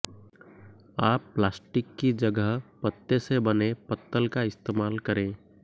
आप प्लास्टिक की जगह पत्ते से बने पत्तल का इस्तेमाल करें